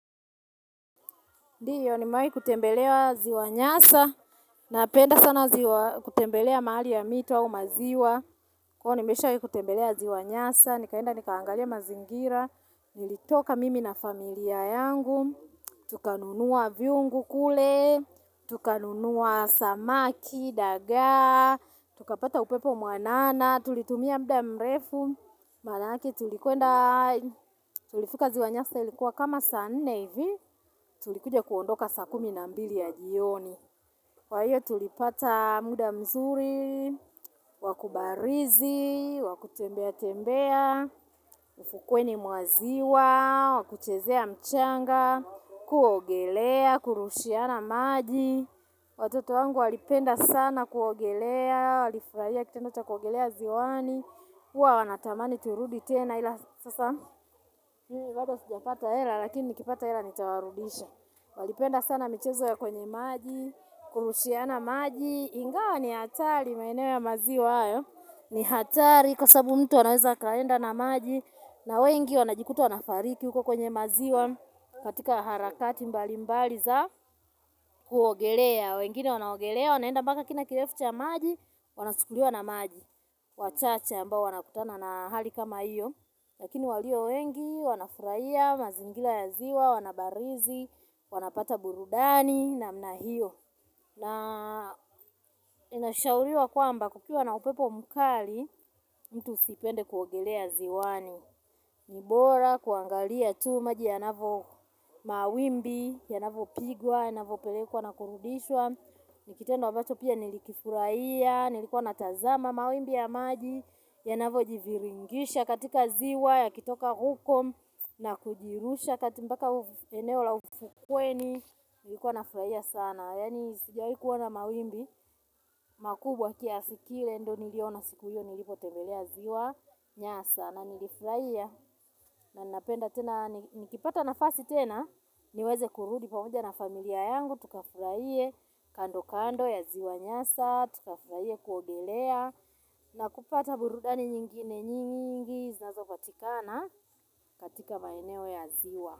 Ndio ni mawahi kutembelewa ziwa nyasa. Napenda sana kutembelea mahali ya mito au maziwa. Kwa nimesha wahi kutembelea ziwa nyasa. Nikaenda nikaangalia mazingira. Nilitoka mimi na familia yangu. Tukanunua viungu kule. Tukanunuwa samaki, daga. Tukapata upepo mwanana. Tulitumia mda mrefu. Maanake tulikwenda tulifika ziwa nyasa ilikuwa kama saa nne hivi. Tulikuja kuondoka saa kumi na mbili ya jioni Kwa hiyo tulipata muda mzuri Wakubarizi, wakutembea tembea Mfukweni mwa ziwa, wakuchezea mchanga kuogelea, kurushiana maji Watoto wangu walipenda sana kuogelea Walifurahia kitendo cha kuogelea ziwani huwa wanatamani turudi tena ila sasa bado sujafata hela lakini nikipata hela nitawarudisha Walipenda sana michezo ya kwenye maji, kurushiana maji, ingawa ni hatari maeneo ya maziwa hayo ni hatari kwa sababu mtu anaweza akaenda na maji na wengi wanajikuta wanafariki huko kwenye maziwa katika harakati mbali mbali za kuogelea wengine wanaogelea wanaenda mpaka kina kilefucha maji Wanachukuliwa na maji wachache ambao wanakutana na hali kama hiyo Lakini walio wengi wanafurahia mazingira ya ziwa wanabarizi, wanapata burudani na mnahio na inashauliwa kwamba kukiwa na upepo mkali mtu usipende kuogelea ziwani nibora kuangalia tu maji ya navo mawimbi ya navo pigwa ya navo pelekwa na kurudishwa nikitendo ambacho pia nilikifuraihia nilikwa natazama mawimbi ya maji ya navo jiviringisha katika ziwa ya kitoka huko na kujirusha kati mpaka eneo la ufukweni, nilikuwa na furahia sana. Yaani, sijawahi kuona mawimbi, makubwa kiasikile, ndo niliona siku hiyo, nilipo tembelea ziwa, nyasa, na nilifurahia. Na ninapenda tena, nikipata na fasi tena, niweze kurudi pamoja na familia yangu, tukafurahie kando kando ya ziwa nyasa, tukafurahie kuogelea. Na kupata burudani nyingine nyingi, znazo patikana katika maeneo ya ziwa.